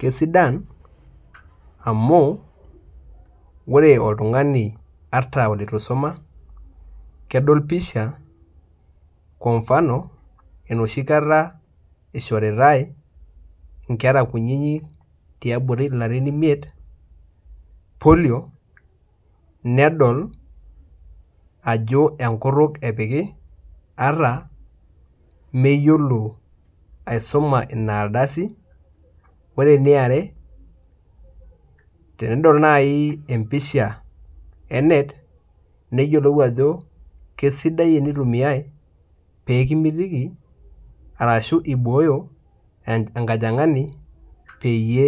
Kesidan amu ore oltungani ata olitusuma kedol pisha kwamfano enoshikata ishoritae nkera kutitik tiabori larin imiet polio nedol ajo enkutuk epiki ata meyiolo aisuma inardasi, ore eniaretenedol nai empisha enet neyiolou ajo kesidai enitumiai pekimitiki ashu ibooyo enkajangani peyie